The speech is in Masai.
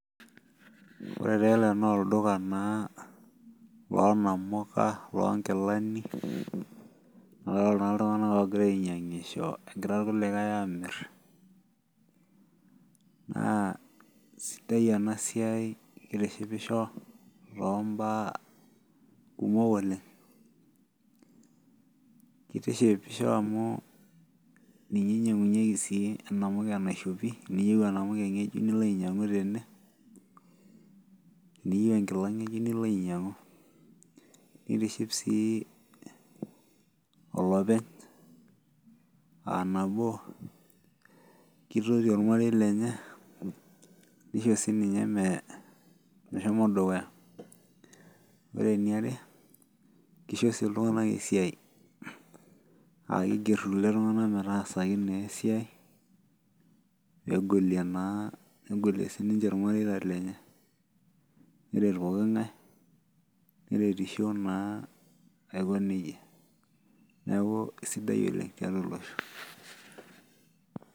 Ore taa ele naa olduka naa loo namuka loo nkilani. Looolo taa iltunganak oogira ainyiangisho egira ilkulikae aamir. naa sidai ena siai kitishipisho too mbaya kumok oleng. kitishipisho amu ninye inyiang'unyieki enamuke naishopo. ninye inyiang'i tene, teniyieu enkila ngejuk nilo ainyiangu. nitiship sii olopeny, aa nabo. kitoti olmarei lenye. nisho sii ninye meshomo dukuya. ore eniare kisho sii iltunganak esiai.aa kisho irkulie migeri.,pee egolie na a egolie sii ninche ilmareita lenye. ore pooki ng'ae. neretisho naa aiko nejia. neeku isidai oleng tiatua olosho.